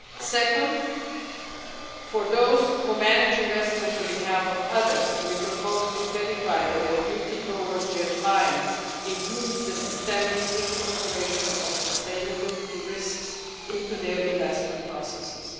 Second, for those who manage investments on behalf of others, we propose to clarify that their duty towards their clients includes the systemic incorporation of sustainability risks into their investment processes.